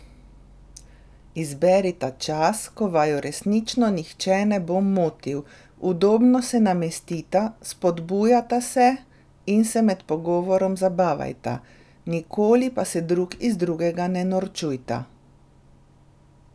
Izberita čas, ko vaju resnično nihče ne bo motil, udobno se namestita, spodbujata se in se med pogovorom zabavajta, nikoli pa se drug iz drugega ne norčujta.